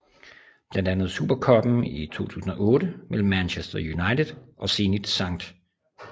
Blandt andet Super Cuppen i 2008 mellem Manchester United og Zenit Skt